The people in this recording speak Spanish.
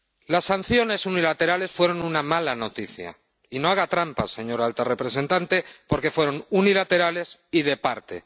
Las sanciones unilaterales fueron una mala noticia, y no haga trampa, señora alta representante, porque fueron unilaterales y de parte.